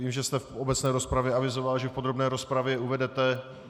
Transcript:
Vím, že jste v obecné rozpravě avizoval, že v podrobné rozpravě uvedete...